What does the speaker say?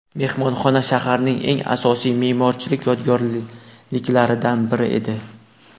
Mehmonxona shaharning eng asosiy me’morchilik yodgorliklaridan biri edi.